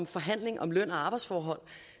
forhandling om løn og arbejdsforhold